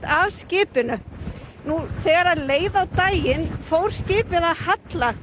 að skipinu þegar leið á daginn fór skipið að halla